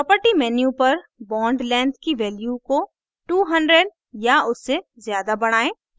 property menu पर bond length की value को 200 या उससे ज़्यादा बढ़ाएं